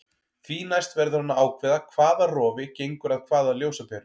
Því næst verður hann að ákveða hvaða rofi gengur að hvaða ljósaperu.